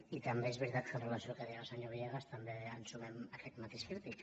i també és veritat que amb relació al que deia el se·nyor villegas també ens sumem a aquest matís crític